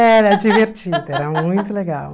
Era divertido, era muito legal,